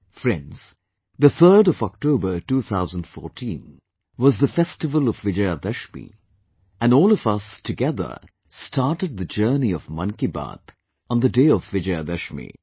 Friends, the 3rd of October, 2014 was the festival of Vijaya Dashami and all of us together started the journey of 'Mann Ki Baat' on the day of Vijaya Dashami